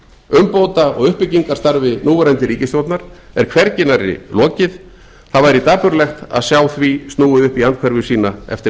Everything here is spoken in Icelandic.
umbóta og uppbyggingarstarfi núverandi ríkisstjórnar er hvergi nærri lokið það væri dapurlegt að sjá því snúið upp í andhverfu sína eftir